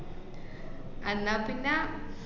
അന്നാ പിന്നെ